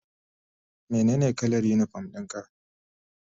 Menene kalar unipom ɗin ka?